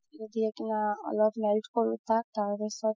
অলপ তাৰপিছত